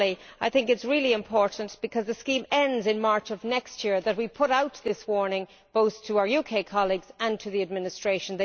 I think it is really important, because the scheme ends in March of next year, that we put out this warning both to our UK colleagues and to the administration.